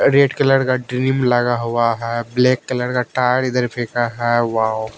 red colour का ड्रीम लगा हुआ है ब्लैक कलर का टायर इधर फेंका है वो--